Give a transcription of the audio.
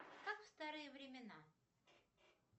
как в старые времена